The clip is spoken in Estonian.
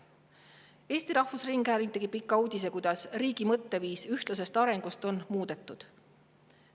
Eesti Rahvusringhääling tegi pika uudise, kuidas riigi mõtteviis ühtlasest arengust on muutunud.